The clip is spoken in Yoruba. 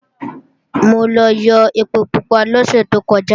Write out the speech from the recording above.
Mo lọ yó ẹpo pupa lọ́sẹ̀ tó kọjá